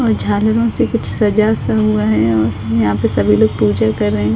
औ झालरों से कुछ सजा सा हुआ है औ यहाँ पे सभी लोग पूजा कर रहे।